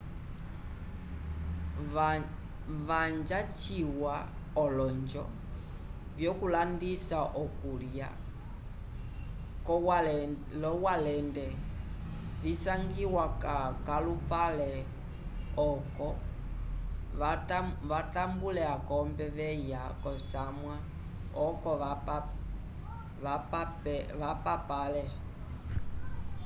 vanja ciwa olonjo vyokulandisa okulya l'owalende visangiwa k'alupale oco vatambule akombe veya k'osamwa oco vapapale